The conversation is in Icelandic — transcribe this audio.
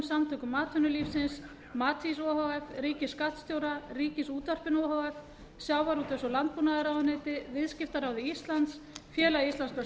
samtökum atvinnulífsins matís o h f ríkisskattstjóra ríkisútvarpinu o h f sjávarútvegs og landbúnaðarráðuneyti viðskiptaráði íslands félagi íslenskra